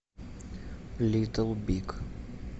литл биг